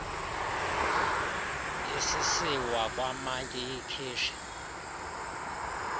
isisiwa kwamantyi iyikheshi